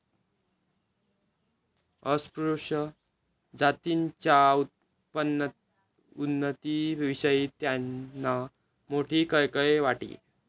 अस्पृश्य जातींच्या उन्नतीविषयी त्यांना मोठी कळकळ वाटे.